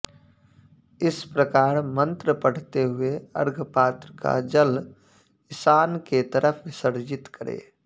इस प्रकार मन्त्र पढ़ते हुए अर्घपात्र का जल ईशान के तरफ विसर्जित करे